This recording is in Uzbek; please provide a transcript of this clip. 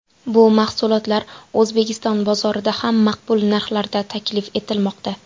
Bu mahsulotlar O‘zbekiston bozorida ham maqbul narxlarda taklif etilmoqda.